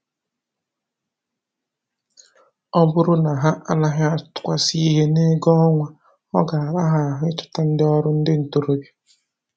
Ọ bụrụ na ha anaghị atụkwasị ihe n'ego ọnwa, ọ ga-ara ha ahụ ịchọta ndị ọrụ ndị ntoroọbịa